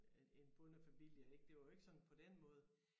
Øh en bondefamilie ik det var jo ikke sådan på den måde